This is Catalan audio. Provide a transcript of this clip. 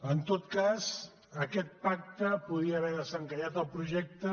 en tot cas aquest pacte podia haver desencallat el projecte